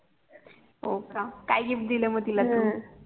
होका काय गिफ्ट दिल मग तू